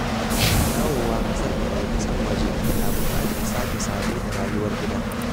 Dawowa ƙasarka daga ƙasashen waje na buƙatar sake sabo da rayuwar gida.